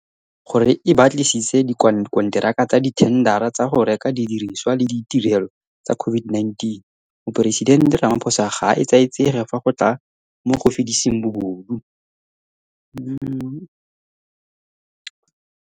Nko, gore e batlisise dikonteraka tsa dithendara tsa go reka didirisiwa le ditirelo tsa COVID-19, Moporesidente Ramaphosa ga a etsaetsege fa go tla mo go fediseng bobodu.